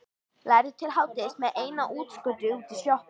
Lærði til hádegis með einu útskoti út í sjoppu.